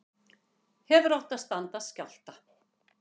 Hefðu átt að standast skjálfta